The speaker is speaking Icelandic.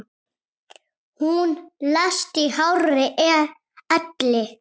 Hún lést í hárri elli.